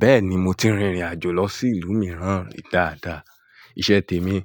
Bẹ́ẹ̀ni mo ti rìnrìn àjò lọ sí ìlú mìíràn dáadáa. Ìṣe tèmi